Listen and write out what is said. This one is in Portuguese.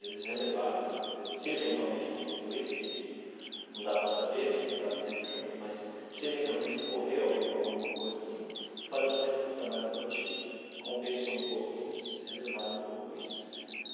eles relevassem, se eventualmente aconteceu isso, porque a gente não dá para saber né, não estava sempre junto, mas se eventualmente ocorreu algum alguma coisa assim, o fato de ela ser muito trabalhadora acho que compensou um pouco, e eles relevaram um pouco isso.